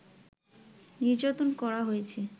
নির্যাতন করা হয়েছে